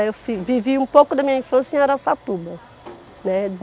Eu fi vivi um pouco da minha infância em Araçatuba, né.